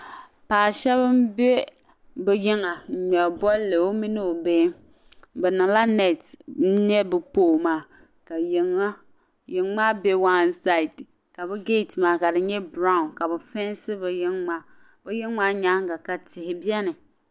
Paɣa shɛba m-be bɛ yiŋga n-ŋmɛri bolli o mini o bihi be niŋla "net" nyɛ be "pole" maa ka yiŋ'maa be "one side" ka be "gate" maa ka di nyɛ "brown" ka be peenti be yiŋ'maa be yiŋ'maa nyaanga ka tihi beni.